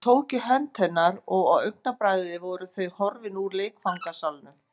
Hann tók í hönd hennar og á augabragði voru þau horfin úr leikfangasalnum.